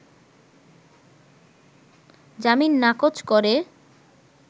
জামিন নাকচ করে